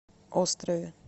острове